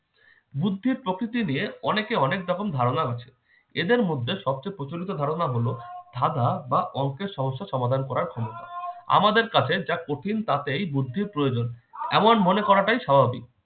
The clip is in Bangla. বুদ্ধির প্রকৃতি নিয়ে অনেকের অনেক রকমের ধারণা আছে। এদের মধ্যে সবচেয়ে প্রচলিত ধারণা হলো ধাঁধা বা অংকের সমস্যা সমাধান করার ক্ষমতা। আমাদের কাছে যা কঠিন তাতেই বুদ্ধির প্রয়োজন এমন মনে করাটাই স্বাভাবিক।